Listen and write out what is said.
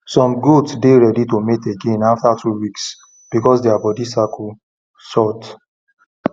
some goat dey ready to mate again every two weeks because dia bodi cycle short